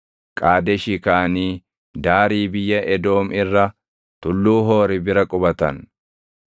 Qaadeshii kaʼanii daarii biyya Edoom irra Tulluu Hoori bira qubatan.